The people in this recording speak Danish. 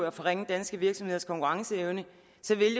at forringe danske virksomheders konkurrenceevne